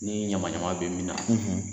Ni ɲamanɲaman bɛ min na